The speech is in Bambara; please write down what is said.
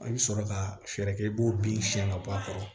I bɛ sɔrɔ ka fɛɛrɛ kɛ i b'o bin siɲɛ ka bɔ a kɔrɔ